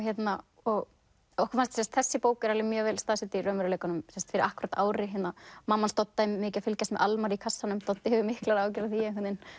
og þessi bók er mjög vel staðsett í raunveruleikanum fyrir akkúrat ári mamma Dodda er mikið að fylgjast með Almari í kassanum Doddi hefur miklar áhyggjur af því að